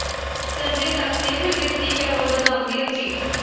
ਸੰਜੇ ਦੱਤ ਨੇ ਫਿਰ ਦਿੱਤੀ ਪੈਰੋਲ ਵਧਾਉਣ ਦੀ ਅਰਜ਼ੀ